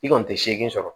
I kɔni tɛ se sɔrɔ